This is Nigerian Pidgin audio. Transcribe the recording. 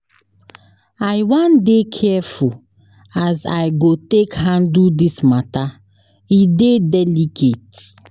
I wan dey careful as I go take handle dis mata, e dey delicate.